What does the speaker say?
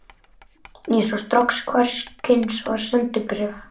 Ég sá strax hvers kyns var: SENDIBRÉF